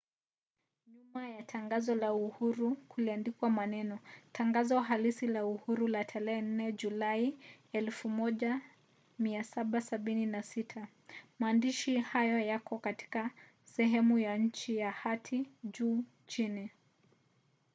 nyuma ya tangazo la uhuru kuliandikwa maneno tangazo halisi la uhuru la tarehe 4 julai 1776”. maandishi hayo yako katika sehemu ya chini ya hati juu chini